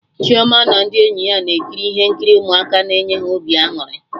Chioma na ndị enyi ya na-ekiri ihe nkiri ụmụaka na enye ha obi aṅụrị